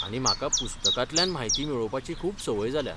आनी म्हाका पुस्तकांतल्यान म्हायती मेळोवपाची खूब सवंय जाल्या.